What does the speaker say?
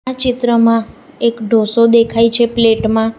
આ ચિત્રમાં એક ઢોસો દેખાય છે પ્લેટ માં.